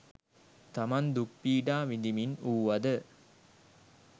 තමන් දුක් පීඩා විඳිමින් වූවද